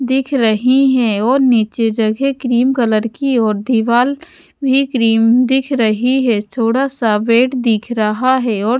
दिख रही है और नीचे जगह क्रीम कलर की और दीवाल भी क्रीम दिख रही है थोड़ा सा बेड दिख रहा है और--